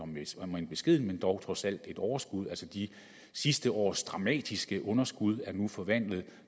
med et om end beskedent overskud så dog trods alt et overskud altså de sidste års dramatiske underskud er nu forvandlet